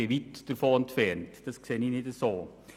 Das sehe ich nicht so.